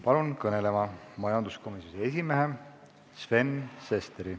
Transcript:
Palun kõnelema majanduskomisjoni esimehe Sven Sesteri.